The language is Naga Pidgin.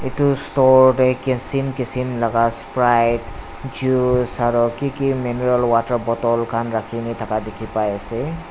tu store tae kisim kisim laka sprit juice aro kiki maniral water bottle khan rakhina thaka dikhipaiase.